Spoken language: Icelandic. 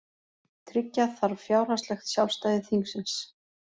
Tryggja þarf fjárhagslegt sjálfstæði þingsins